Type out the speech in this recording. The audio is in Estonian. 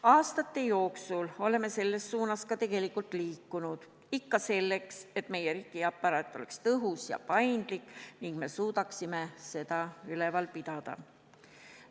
Aastate jooksul oleme selles suunas ka tegelikult liikunud, ikka selleks, et meie riigiaparaat oleks tõhus ja paindlik ning me suudaksime seda üleval pidada.